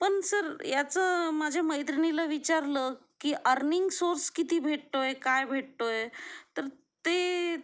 पण सर याचं माझ्या मैत्रिणीला विचारलं की अरनिंग सोर्स किती भेटतोय, काय भेटतोय तर ते